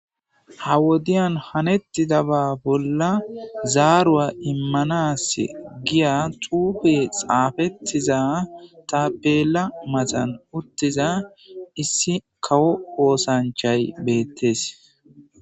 Ha wodiyan hanettidaba bolla zaaru7a immanas giya tuupe xaafettiza ta peela matan uttiza issi kawo oosanchay beettes.